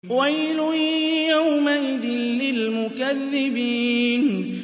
وَيْلٌ يَوْمَئِذٍ لِّلْمُكَذِّبِينَ